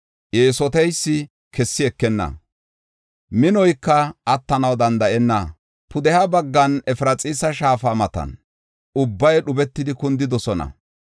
Eesoteysi kessi ekenna; minoyka attanaw danda7enna. Pudeha baggan Efraxiisa shaafa matan, ubbay dhubetidi kundidosona.